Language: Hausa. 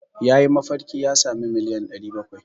Ya yi mafarki ya sami miliyan 700.